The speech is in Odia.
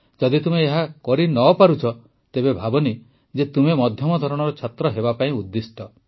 ଯଦି ତୁମେ ଏହା ନ କରୁଛ ତେବେ ଭାବନି ଯେ ତୁମେ ମଧ୍ୟମ ଧରଣର ଛାତ୍ର ହେବା ପାଇଁ ଉଦ୍ଦିଷ୍ଟ